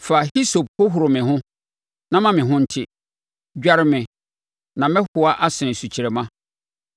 Fa hisope hohoro me ho, na me ho bɛte; dware me, na mɛhoa asene sukyerɛmma.